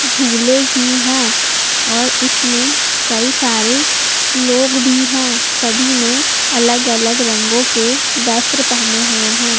झूले भी हैं और इसमें कई सारे लोग भी हैं सभी ने अलग-अलग रंगों के वस्त्र पहने हुए हैं।